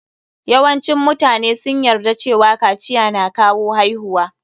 Yawancin mutane sun yarda cewa yin kaciya na kawo haihuwa.